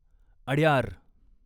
Adyar